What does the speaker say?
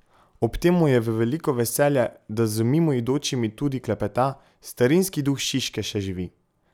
Ob tem mu je v veliko veselje, da z mimoidočimi tudi klepeta: 'Starinski duh Šiške še živi.